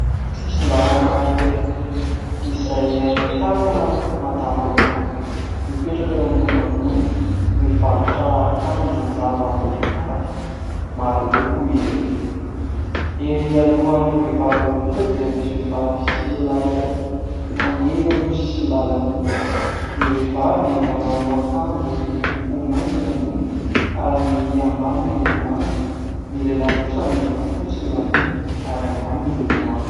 Sisindalana iray izay ahitana madama anakiroa mipetraka eo ambonina gony, mivarotra akanjo lava mbehivavy maroloko izy ireo , ery alohan'ireo vehivavy ireo kosa dia misy vehivavy sy lehilahy iray mandeha eo amin'io sisindalana ny vehivavy manao akanjo miloko maintso ny ambony ary ny ambany miloko manga ny lehilahy kosa miloko fotsy ny ambony ary ny ambany miloko manga